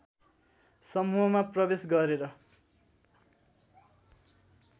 समूहमा प्रवेश गरेर